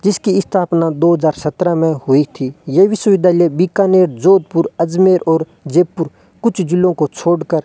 जिसकी स्थापना दो हजार सत्रह मे हुई थी ये विश्विद्यालय बीकानेर जोधपुर अजमेर और जयपुर कुछ जीलों को छोड़कर --